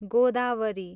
Godavari